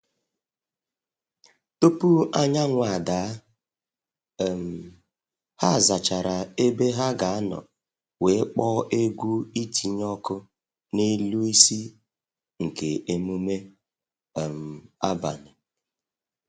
Tupu anyanwụ ada, um ha zachara ebe ha ga anọ wee kpọọ egwu itinye ọkụ n’elu isi nke emume um abalị